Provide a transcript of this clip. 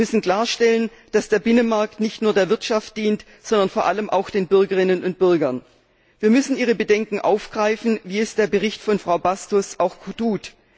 Wir müssen klarstellen, dass der Binnenmarkt nicht nur der Wirtschaft dient, sondern vor allem auch den Bürgerinnen und Bürgern. Wir müssen ihre Bedenken aufgreifen, wie es der Bericht von Frau Bastos auch tut.